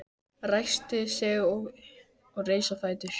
Ræskti sig og reis á fætur.